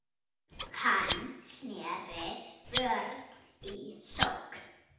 Hann sneri vörn í sókn.